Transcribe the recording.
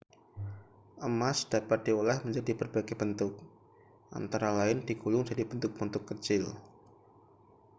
emas dapat diolah menjadi berbagai bentuk antara lain digulung jadi bentuk-bentuk kecil